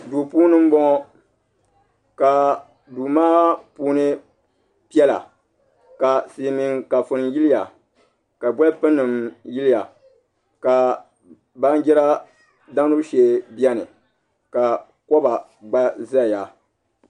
Duu puuni n bɔŋɔ ka duu maa puuni shɛŋa piɛla ka sillmiin kafuni yiliya ka bolfu nim yiliya ka baanjiri damgibu shee biɛni ka koba gbaa ʒɛya